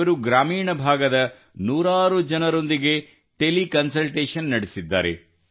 ಇವರು ಗ್ರಾಮೀಣ ಭಾಗದ ನೂರಾರು ಜನರೊಂದಿಗೆ ಟೆಲಿ ಕನ್ಸಲ್ಟೇಷನ್ ನಡೆಸಿದ್ದಾರೆ